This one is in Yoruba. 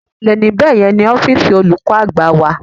Ìsàlẹ̀ ní bẹ̀yẹn ni ọ́fíìsì olùkọ́ àgbà wà.